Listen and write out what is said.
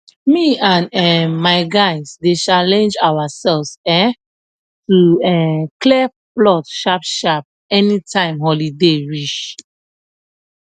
me and um my guys dey challenge ourself um to um clear plot sharpsharp anytime holiday reach